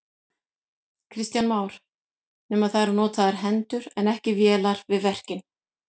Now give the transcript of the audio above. Kristján Már: Nema það eru notaðar hendur en ekki vélar við verkin?